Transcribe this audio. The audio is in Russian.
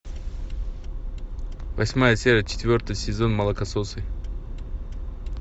восьмая серия четвертый сезон молокососы